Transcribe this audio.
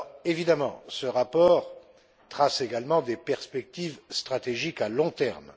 Évidemment, ce rapport trace également des perspectives stratégiques à long terme.